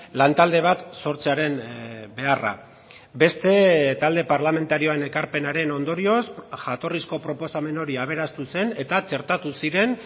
lantalde bat sortzearen beharra beste talde parlamentarioen ekarpenaren ondorioz jatorrizko proposamen hori aberastu zen eta txertatu ziren